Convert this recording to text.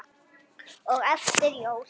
og eftir jól.